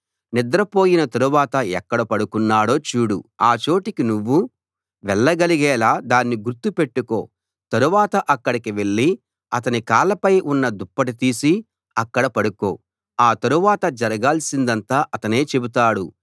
నిద్రపోయిన తరువాత ఎక్కడ పడుకున్నాడో చూడు ఆ చోటికి నువ్వూ వెళ్ళగలిగేలా దాన్ని గుర్తు పెట్టుకో తరువాత అక్కడికి వెళ్ళి అతని కాళ్ళపై ఉన్న దుప్పటి తీసి అక్కడ పడుకో ఆ తరువాత జరగాల్సిందంతా అతనే చెబుతాడు